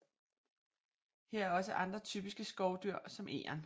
Her er også andre typiske skovdyr som egern